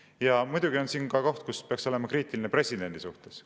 Ja muidugi on siin ka koht, kus peaks olema kriitiline presidendi suhtes.